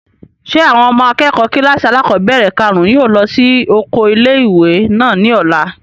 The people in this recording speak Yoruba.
Ṣé àwọn ọmọ akẹ́kọ̀ọ́ kílàsì alákọ́bẹ̀rẹ̀ kàrún yóò lọ sí oko ilé-ìwé náà ní ọ̀la?